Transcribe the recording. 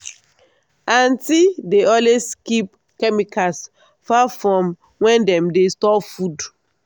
aunty dey always keep chemicals far from where dem dey store food.